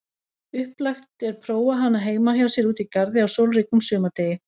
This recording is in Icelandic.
Upplagt er prófa hana heima hjá sér úti í garði á sólríkum sumardegi.